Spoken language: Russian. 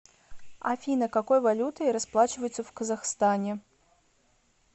афина какой валютой расплачиваются в казахстане